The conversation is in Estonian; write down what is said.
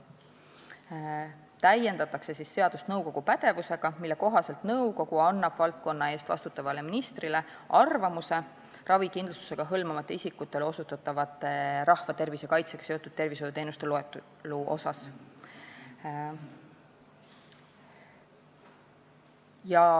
Seadust täiendatakse nõukogu pädevuse sätetega, mille kohaselt nõukogu annab valdkonna eest vastutavale ministrile arvamuse ravikindlustusega hõlmamata isikule osutatavate rahvatervise kaitsega seotud tervishoiuteenuste loetelu kohta.